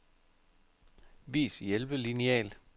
Vis hjælpelineal.